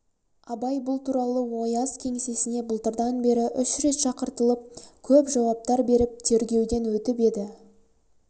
абай бұл туралы ояз кеңсесіне былтырдан бері үш рет шақыртылып көп жауаптар беріп тергеуден өтіп еді